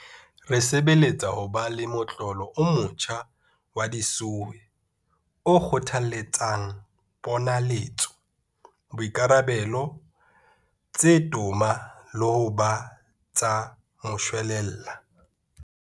Re sebeletsa ho ba le motlolo o motjha wa di-SOE o kgothaletsang ponaletso, boikarabelo tse toma le ho ba tsa moshwelella.